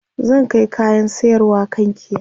zan Kai kayan sayarwa kankia